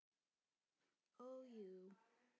Ó, jú.